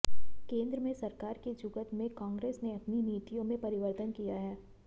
केंद्र में सरकार की जुगत में कांग्रेस ने अपनी नीतियों में परिवर्तन किया है